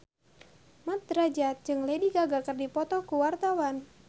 Mat Drajat jeung Lady Gaga keur dipoto ku wartawan